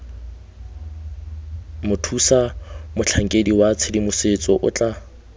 mothusamotlhankedi wa tshedimosetso o tla